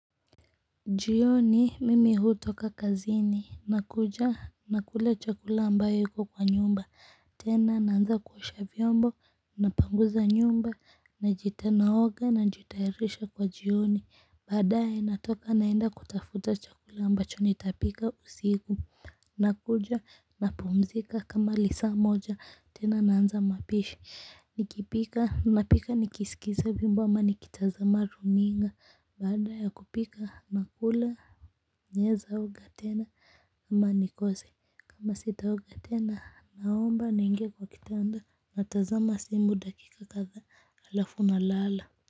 Jioni mimi hutoka kazini na kuja nakula chakula ambayo iko kwa nyumba tena naanza kuosha vyombo napanguza nyumba naoga najitayarisha kwa jioni baadaye natoka naenda kutafuta chakula ambacho nitapika usiku. Nakuja na pumzika kama lisaa moja tena naanza mapishi. Nikipika napika nikisikiza wimbo ama nikitazama runinga baada ya kupika nakula naweza oga tena ama nikose kama sitaoga tena naomba niingie kwa kitanda natazama simu dakika kadhaa alafu nalala.